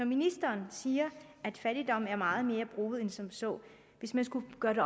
ministeren siger at fattigdom er meget mere broget end som så hvis man skulle gøre det